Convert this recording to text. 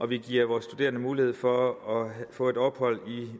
vi giver vores studerende mulighed for at få et ophold i